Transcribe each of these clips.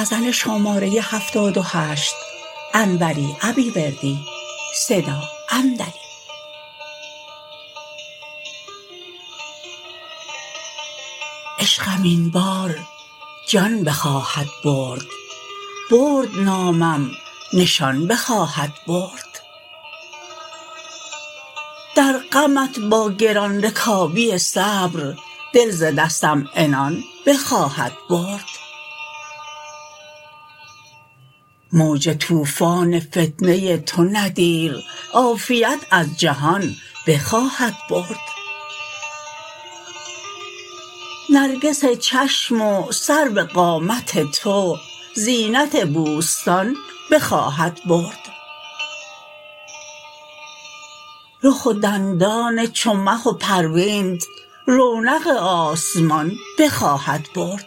عشقم این بار جان بخواهد برد برد نامم نشان بخواهد برد در غمت با گران رکابی صبر دل ز دستم عنان بخواهد برد موج طوفان فتنه تو نه دیر عافیت از جهان بخواهد برد نرگس چشم و سرو قامت تو زینت بوستان بخواهد برد رخ و دندان چو مه و پروینت رونق آسمان بخواهد برد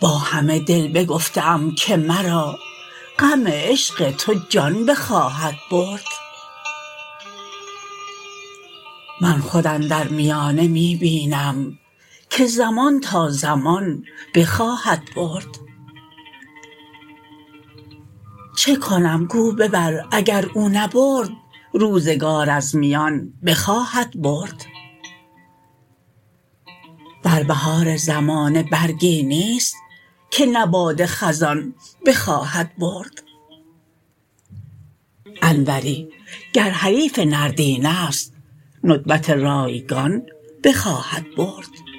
با همه دل بگفته ام که مرا غم عشق تو جان بخواهد برد من خود اندر میانه می بینم که زمان تا زمان بخواهد برد چه کنم گو ببر گر او نبرد روزگار از میان بخواهد برد در بهار زمانه برگی نیست که نه باد خزان بخواهد برد انوری گر حریف نرد این است ندبت رایگان بخواهد برد